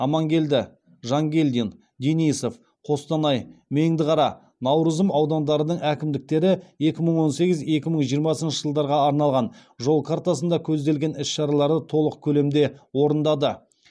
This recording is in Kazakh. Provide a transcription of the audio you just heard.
амангелді жангелдин денисов қостанай меңдіқара наурызым аудандарының әкімдіктері екі мың он сегізінші екі мың жиырмасыншы жылдарға арналған жол картасында көзделген іс шаралары толық көлемде орындады